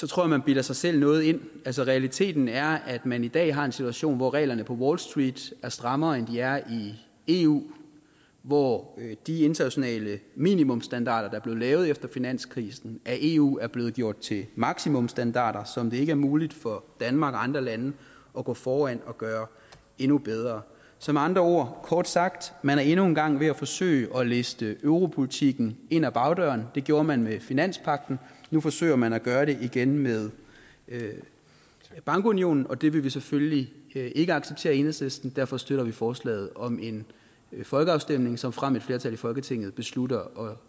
tror at man bilder sig selv noget ind realiteten er at man i dag har en situation hvor reglerne på wall street er strammere end de er i eu hvor de internationale minimumsstandarder der blev lavet efter finanskrisen af eu er blevet gjort til maksimumsstandarder som det ikke er muligt for danmark og andre lande at gå foran og gøre endnu bedre så med andre ord og kort sagt man er endnu en gang ved at forsøge at liste europolitikken ind ad bagdøren det gjorde man med finanspagten og nu forsøger man at gøre det igen med bankunionen og det vil vi selvfølgelig ikke acceptere i enhedslisten derfor støtter vi forslaget om en folkeafstemning såfremt et flertal i folketinget beslutter